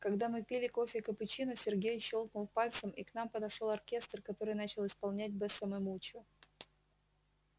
когда мы пили кофе капучино сергей щёлкнул пальцем и к нам подошёл оркестр который начал исполнять бесса ме мучо